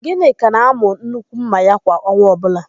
Gịnịka na-àmụ́ nnukwu ḿmà ya kwa ọnwa ọbụla.